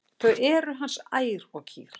Þau eru hans ær og kýr.